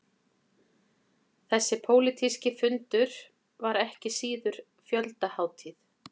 Þessi pólitíski fundur var ekki síður fjöldahátíð